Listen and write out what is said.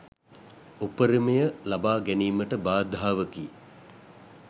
උපරිමය ලබා ගැනීමට බාධාවකි